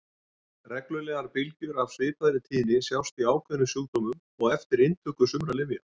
Reglulegar bylgjur af svipaðri tíðni sjást í ákveðnum sjúkdómum og eftir inntöku sumra lyfja.